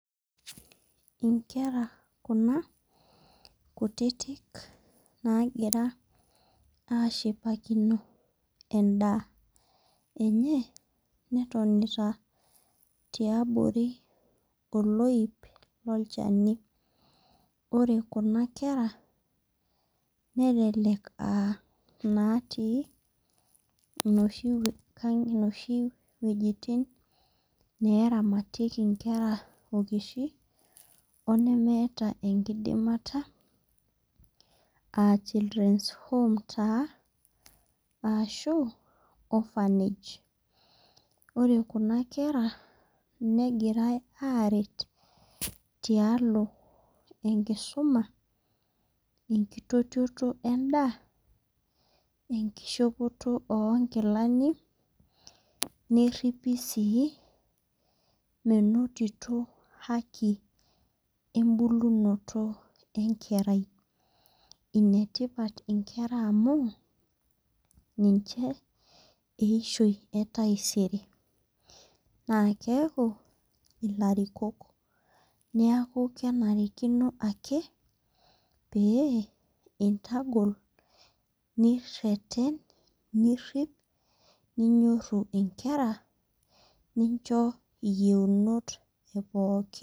Inkera kuna kutitik nagira ashipakino edaa enye netonita tiabori oloip loo lchani. Ore kuna kera nelelek aa natii noshi wejitin neramatiekii inkera okishi oo nemeeta enkidimata aa children's home taa ashu orphanage. Ore kuna kera negirai aret tialo enkisuma, enkititoti edaa enkishopoto onkilani neripi sii menotito haki ebulunoto enkerai. Ine tipat inkera amu ninche eishoi etaisere. Naa keeku ilarikook neeku kenarikino ake pee intagol nireten nirip ninyoru inkera nincho iyeunot ee pookin.